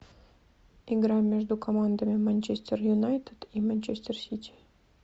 игра между командами манчестер юнайтед и манчестер сити